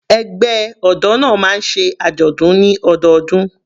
Ẹgbẹ́ ọ̀dọ́ náà máa ń ṣe àjọ̀dún ní ọdọọdún.